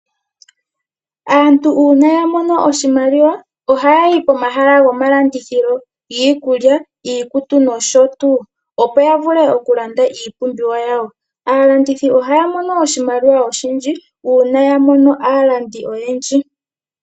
Aantu uuna yamono oshimaliwa, ohayayi pomahala gomalandithilo, giikulya, giikutu, nosho tuu, opo yavule okulanda iipumbiwa yawo. Aalandithi ohaya mono oshimaliwa oshindji, uuna yamono aalandi oyendji.